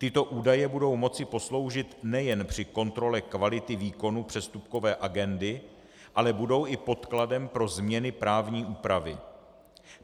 Tyto údaje budou moci posloužit nejen při kontrole kvality výkonu přestupkové agendy, ale budou i podkladem pro změny právní úpravy.